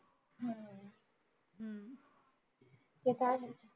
ते त आहेच